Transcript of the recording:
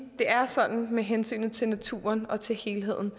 det er sådan med hensynet til naturen og til helheden